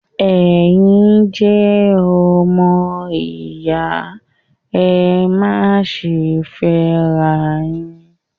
Ẹ̀yin jẹ́ ọmọ ìyá, ẹ má ṣe fẹ́ ara yín!